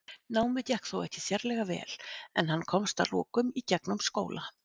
Námið gekk þó ekki sérlega vel en hann komst að lokum í gegnum skóla.